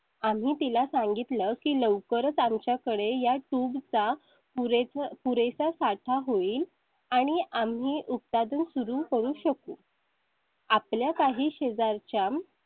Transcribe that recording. आम्ही तिला सांगितलं की लवकरच आमच्याकडे या tube चा पुरे पुरेसा साठा होईल आणि आम्ही उक्ता दोन सुरू करू शकू. आपल्या काही शेजारच्या.